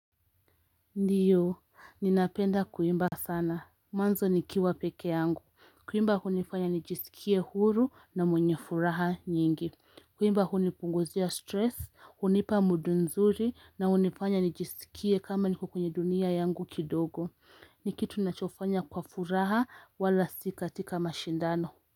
Ndiyo, ninapenda kuimba sana, mwanzo nikiwa peke yangu. Kuimba hunifanya nijisikie huru na mwenye furaha nyingi. Kuimba hunipunguzia stress, hunipa mood nzuri na hunifanya nijisikie kama nikokwenye dunia yangu kidogo. Nikitu ninachofanya kwa furaha wala sikatika mashindano.